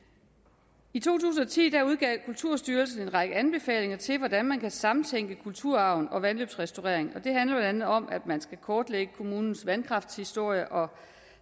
i to tusind og ti udgav kulturstyrelsen en række anbefalinger til hvordan man kan samtænke kulturarv og vandløbsrestaurering og det handler blandt andet om at man skal kortlægge kommunens vandkraftshistorie og